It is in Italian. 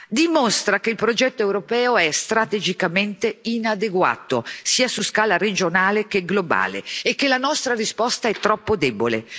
dimostra che il progetto europeo è strategicamente inadeguato, sia su scala regionale che globale e che la nostra risposta è troppo debole.